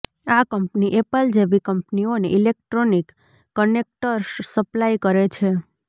આ company Apple જેવી કંપનીઓને ઇલેક્ટ્રોનિક કનેક્ટર્સ સપ્લાય કરે છે